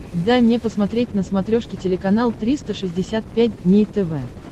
дай мне посмотреть на смотрешке телеканал триста шестьдесят пять дней тв